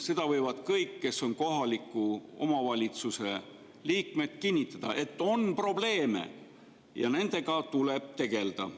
Seda võivad kõik, kes on kohaliku omavalitsuse liikmed, kinnitada, et on probleeme ja nendega tuleb tegelda.